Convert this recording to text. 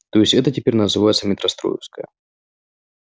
то есть это теперь называется метростроевская